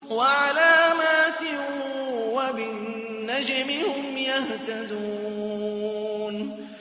وَعَلَامَاتٍ ۚ وَبِالنَّجْمِ هُمْ يَهْتَدُونَ